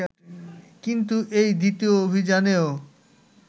কিন্তু এই দ্বিতীয় অভিযানেও